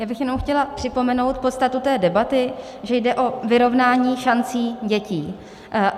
Já bych jenom chtěla připomenout podstatu té debaty, že jde o vyrovnání šancí dětí.